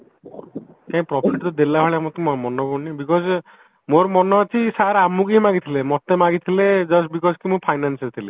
କାଇଁ profit ତ ଦେଲା ଭଳିଆ ମତେ ମାନେ ପଡୁନି because ମୋର ମାନେ ଅଛି sir ଆମକୁହିଁ ମାଗିଥିଲେ ମତେ ମାଗିଥିଲେ just because କି ମୁଁ financeରେ ଥିଲି